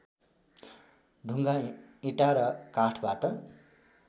ढुङ्गा इँटा र काठबाट